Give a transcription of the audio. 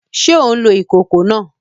Ṣe o ǹ lo ìkòkò náà?